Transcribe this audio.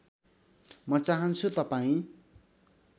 म चाहन्छु तपाईँ